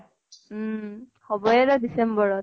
উম। হʼবই ৰʼ december ত।